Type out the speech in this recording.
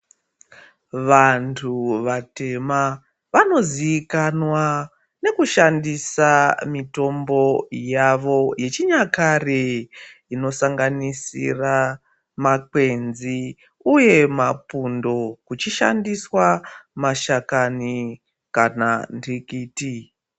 Vantu vatema vanozikanwa nekushandisa mitombo yavo yechinyakare. Inosangaganisira, makwenzi uye mapundo kuchishandiswa mashakani kana ndikiti.